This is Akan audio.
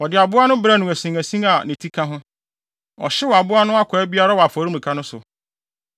Wɔde aboa no brɛɛ no asinasin a ne ti ka ho. Ɔhyew aboa no akwaa biara wɔ afɔremuka no so.